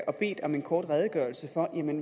og bedt om en kort redegørelse for